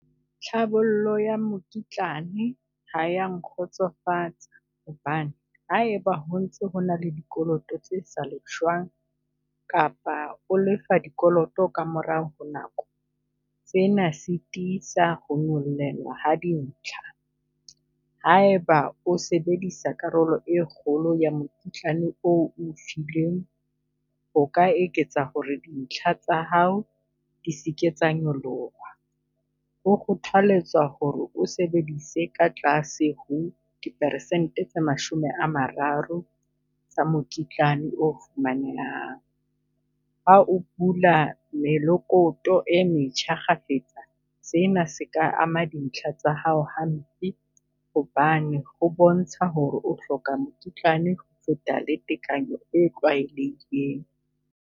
Tlhabollo ya mokitlane ha ya nkgotsofatsa hobane ha eba ho ntse ho na le dikoloto tse sa lefshwang kapa o lefa dikoloto ka morao ho nako, tsena sitisa ho nyollelwa ha dintlha. Ha eba o sebedisa karolo e kgolo ya mokitlane oo o fileng, o ka eketsa ho re dintlha tsa hao di seke tsa nyoloha. Ho kgothaletsa ho re o sebedise ka tlase ho di persente tse mashome a mararo tsa mokitlane o fumanehang. Ha o bula melokoto e metjha kgafetsa, sena se ka ama dintlha tsa hao hampe hobane ho bontsha ho re o hloka mokitlane ho feta tekanyo e tlwaelehileng.